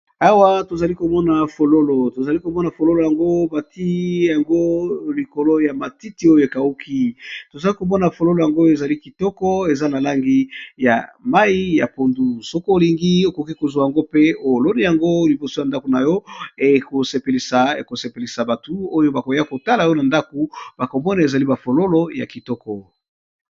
Awa tozali komona fololo ,tozali komona fololo yango bati yango likolo ya matiti oyo ekauki, tozali komona fololo yango ezali kitoko eza na langi ya mai ya pondu, soki olingi okoki kozwa yango pe oloni yango liboso ya ndako na yo, ekosepelisa batu oyo bakoya kotala yo na ndako, bakombone ezali bafololo ya kitoko.